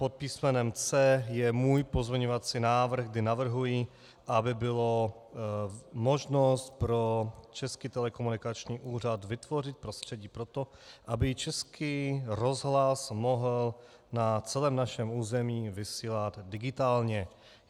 Pod písmenem C je můj pozměňovací návrh, kde navrhuji, aby byla možnost pro Český telekomunikační úřad vytvořit prostředí pro to, aby Český rozhlas mohl na celém našem území vysílat digitálně.